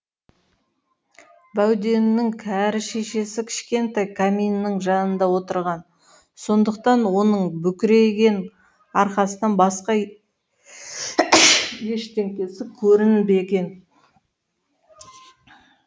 бауденнің кәрі шешесі кішкентай каминнің жанында отырған сондықтан оның бүкірейген арқасынан басқа ештеңесі көрінбеген